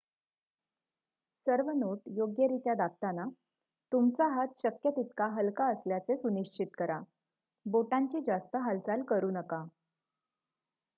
सर्व नोट्स योग्यरित्या दाबताना तुमचा हात शक्य तितका हलका असल्याचे सुनिश्चित करा बोटांची जास्त हालचाल करू नका